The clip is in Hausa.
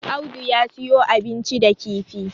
Audu ya siyo abinci da kifi